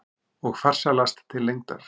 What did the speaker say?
Og farsælast til lengdar.